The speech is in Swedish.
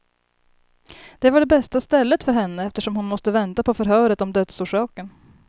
Det var det bästa stället för henne, eftersom hon måste vänta på förhöret om dödsorsaken.